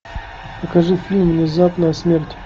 покажи фильм внезапная смерть